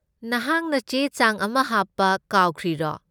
ꯅꯍꯥꯛꯅ ꯆꯦ ꯆꯥꯡ ꯑꯃ ꯍꯥꯞꯄ ꯈꯥꯎꯈ꯭ꯔꯤꯔꯣ?